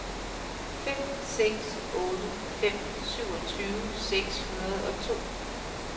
fem seks otte fem syvogtyve seks hundrede og to